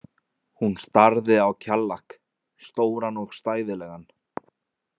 Hún starði á Kjallak, stóran og stæðilegan.